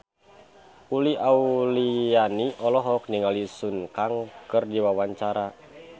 Uli Auliani olohok ningali Sun Kang keur diwawancara